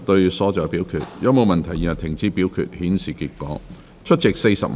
如果沒有問題，現在停止表決，顯示結果。